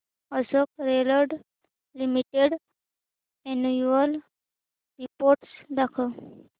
Ashok Leyland limited annual report दाखव